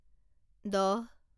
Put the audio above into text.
দহ